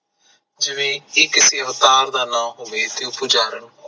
ਜਿਵੇ ਇਕ ਅਵਤਾਰ ਦਾ ਨਾਮ ਹੋਵੇ ਤੇ ਉਹ ਪੁਜਾਰਨ ਹੋਵੇ